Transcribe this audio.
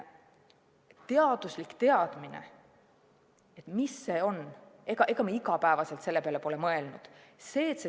Teaduslik teadmine ja mis see on – ega me igapäevaselt selle peale pole mõelnud.